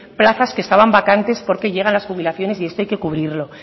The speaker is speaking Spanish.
plazas que estaban vacantes porque llegan las jubilaciones y esto hay que cubrirlo